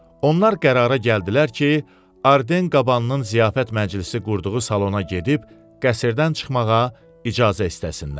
Onlar qərara gəldilər ki, Arden qabanının ziyafət məclisi qurduğu salona gedib, qəsrdən çıxmağa icazə istəsinlər.